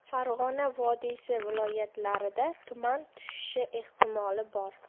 Farg‘ona vodiysi viloyatlarida tuman tushishi ehtimoli bor.